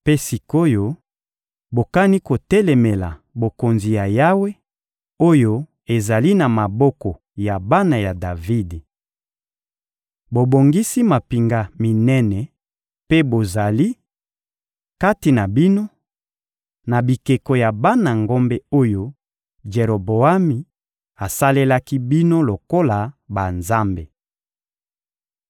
Mpe sik’oyo, bokani kotelemela bokonzi ya Yawe, oyo ezali na maboko ya bana ya Davidi! Bobongisi mampinga minene mpe bozali, kati na bino, na bikeko ya bana ngombe oyo Jeroboami asalelaki bino lokola banzambe.